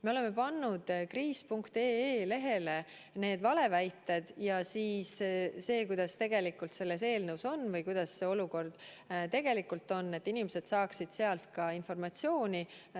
Me oleme pannud veebilehele kriis.ee need valeväited kirja, samuti selle, kuidas olukord tegelikult on, et inimesed saaksid sealt informatsiooni.